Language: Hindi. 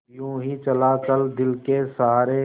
यूँ ही चला चल दिल के सहारे